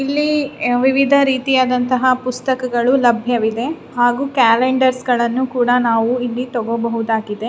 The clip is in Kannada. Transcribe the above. ಇಲ್ಲಿ ವಿವಿಧ ರೀಇತಿಯಾದಂಥ ಪುಸ್ತಕಗಳು ಲಭ್ಯವಿದೆ ಹಾಗು ಕ್ಯಾಲೆಂಡರ್ಸ್ ಗಳನ್ನೂ ನಾವು ಇಲ್ಲಿ ತಗೋ ಬಹುದಾಗಿದೆ.